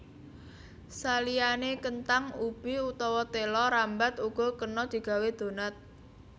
Saliyané kenthang ubi utawa téla rambat uga kena digawé donat